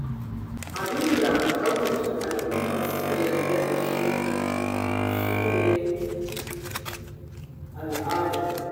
Abinda ɗaukacin al'umma suka yarda da shi shi ne al'ada.